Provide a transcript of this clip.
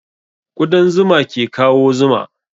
Ƙudan zuma ke kawo zuma